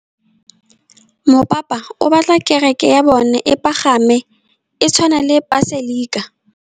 Mopapa o batla kereke ya bone e pagame, e tshwane le paselika.